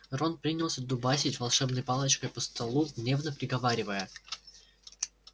рон принялся дубасить волшебной палочкой по столу гневно приговаривая